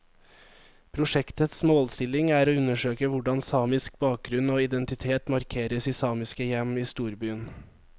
Prosjektets målsetning er å undersøke hvordan samisk bakgrunn og identitet markeres i samiske hjem i storbyen.